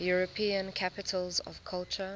european capitals of culture